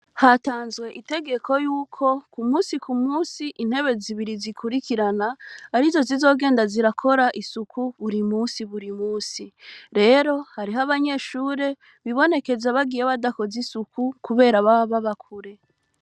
Hatanzwe itegeko yuko kumusi kumusi ,intebe zibiri zikurikirana arizo zizokora isuku buri musi. Rero harih’abanyeshure bibonekeza bagiye badakoze isuku kubera baba baba kure.